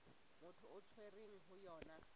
motho a tshwerweng ho yona